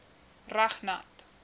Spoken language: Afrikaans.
reg nat